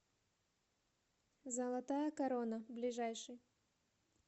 золотая корона ближайший